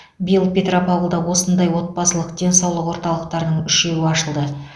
биыл петропавлда осындай отбасылық денсаулық орталықтарының үшеуі ашылды